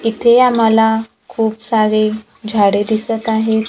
इथे आम्हाला खूप सारे झाडे दिसतं आहेत.